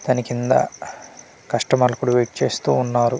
దాని కింద కస్టమర్ ఇప్పుడు వెయిట్ చేస్తూ ఉన్నారు.